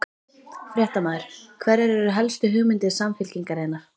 Fréttamaður: Hverjar eru helstu hugmyndir Samfylkingarinnar?